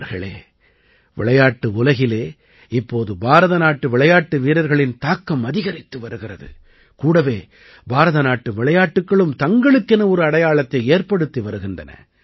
நண்பர்களே விளையாட்டு உலகிலே இப்போது பாரதநாட்டு விளையாட்டு வீரர்களின் தாக்கம் அதிகரித்து வருகிறது கூடவே பாரதநாட்டு விளையாட்டுக்களும் தங்களுக்கென ஒரு அடையாளத்தை ஏற்படுத்தி வருகின்றன